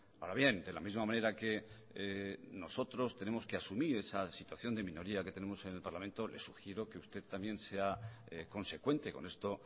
ahora bien de la misma manera que nosotros tenemos que asumir esa situación de minoría que tenemos en el parlamento le sugiero que usted también sea consecuente con esto